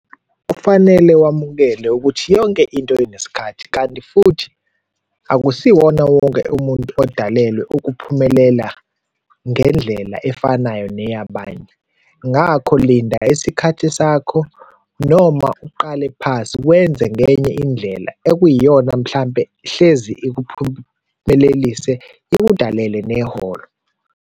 Kufanele wamukele ukuthi yonke into inesikhathi kanti futhi akusiwona wonke umuntu odalelwe ukuphumelela ngendlela efanayo neyabanye. Ngakho linda isikhathi sakho noma uqale phasi, wenze ngenye indlela ekuyiyona mhlampe hlezi ikuphumelelise, ikudalele neholo.